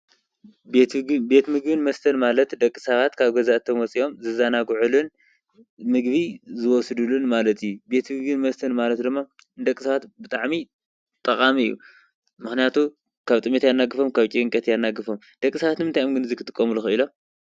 ቤትምግብን መስተን ማለት ደቂ ሰባት ካብ ገዝኣቶም ወፅዮም ዝዘናግዕሉን ምግቢ ዝወስድሉን ማለት እዩ ቤትምግብን መስተን ማለት ድማ ንደቂ ሰባት ብጣዕሚ ጠቃሚ እዩ። ምክንያቱ ካብ ጥሜት የናግፎም ካብ ጭንቂ የናግፎም ደቂ ሰባት ግን ንምንታይ እዮም እዚ ክጥቀምሉ ኪኢሎም ?